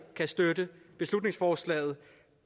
kan støtte beslutningsforslaget